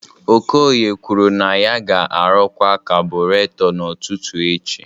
Okoye kwuru na ya ga-arụkwa kabureto n'ụtụtụ echi